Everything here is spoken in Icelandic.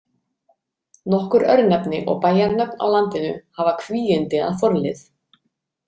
Nokkur örnefni og bæjanöfn á landinu hafa kvígindi að forlið.